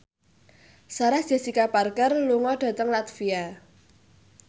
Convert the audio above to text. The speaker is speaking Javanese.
Sarah Jessica Parker lunga dhateng latvia